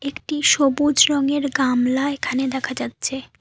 একটি সবুজ রঙের গামলা এখানে দেখা যাচ্ছে।